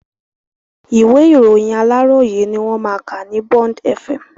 Ìwé ìròyìn Aláròyé ni wọ́n máa ka ní Bond Fm.